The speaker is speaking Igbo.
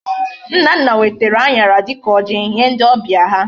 Nnanna wetara añara dika oji Nye ndi obia ha